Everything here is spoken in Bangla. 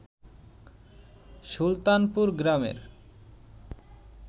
সুলতানপুর গ্রামের